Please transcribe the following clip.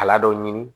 Kala dɔ ɲini